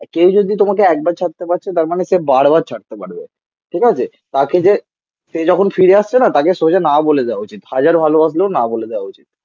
কেউ যদি তোমাকে একবার ছাড়তে পারছে তার মানে সে বার বার ছাড়তে পারবে. ঠিক আছে? তাকে যে সে যখন ফিরে আসছে না তাকে সোজা না বলে দেওয়া উচিত. হাজার ভালোবাসলেও না বলে দেওয়া উচিত.